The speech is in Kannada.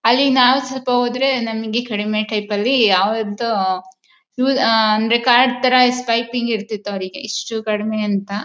ಅಲ್ಲಿ ನಾವು ಸ್ವಲ್ಪ ಹೋದರೆ ನಮಗೆ ಕಡಿಮೆ ಟೈಪಲ್ಲಿ ಯಾವತ್ತು ಅಂದ್ರೆ ಅಹ್ ಅಹ್ ಕಾರ್ಡ್ ತರ ಸ್ವೈಪ್ ಇರ್ತಿತ್ತು ಅವರಿಗೆ ಇಷ್ಟು ಕಡಿಮೆ ಅಂತ